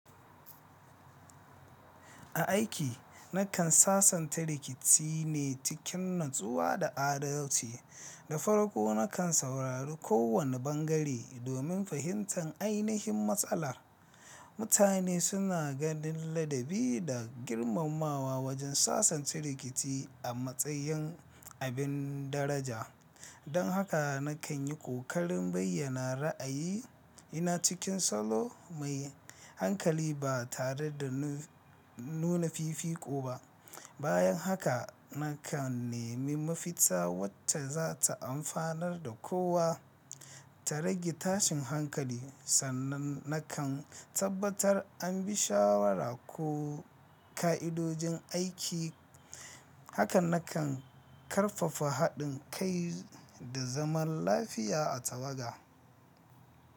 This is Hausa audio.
A aiki, na kan sasanta rikici ne cikin natsuwa da adalci, da farko na kan saurari kowane bangare domin fahimtar ainihin matsala. Mutane suna ganin ladabi da girmamawa wajen sasanta rikici a matsayin abin daraja. Don haka na kan yi ƙoƙarin bayyana ra'ayi ina cikin salo mai hankali ba tare da nuna fifiko ba. Bayan haka, na kan nemi mafita wacce za ta amfanar da kowa. Ta rage tashin hankali sannan na kan tabbatar an bi shawara ko ƙa'idojin aiki. Haka na kan ƙarfafa haɗin kai da zaman lafiya a tawaga.